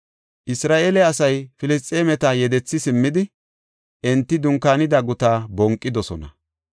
Isra7eele asay Filisxeemeta yedethi simmidi, enti dunkaanida gutaa bonqidosona.